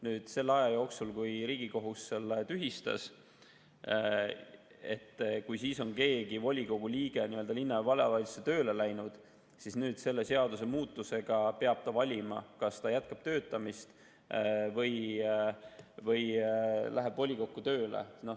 Kui selle aja jooksul, kui Riigikohus on selle tühistanud, on keegi volikogu liige linna‑ või vallavalitsusse tööle läinud, siis peab ta nüüd selle seadusemuudatuse alusel valima, kas ta jätkab töötamist või läheb volikokku tööle.